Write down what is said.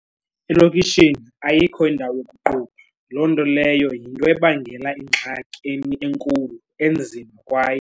Elokishini ayikho indawo yokuqubha, loo nto leyo yinto ebangela ingxaki enkulu enzima kwaye.